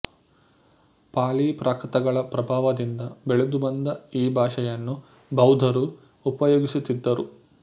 ಪಾಲಿ ಪ್ರಾಕೃತಗಳ ಪ್ರಭಾವದಿಂದ ಬೆಳೆದುಬಂದ ಈ ಭಾಷೆಯನ್ನು ಬೌದ್ಧರು ಉಪಯೋಗಿಸುತ್ತಿದ್ದರು